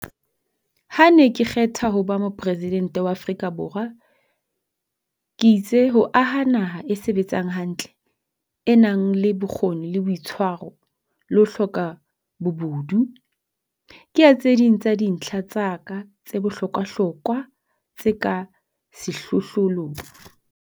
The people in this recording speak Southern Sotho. Ha ke ne ke kgethwa ho ba Mopresi dente wa Afrika Borwa, ke itse ho aha naha e sebetsang hantle, e nang le bokgoni le boitshwaro, le ho hloka bobudu, ke ya tse ding tsa dintlha tsa ka tse bohlokwahlokwa tse ka sehlohlolong.